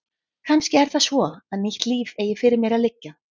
Kannski er það svo að nýtt líf eigi fyrir mér að liggja.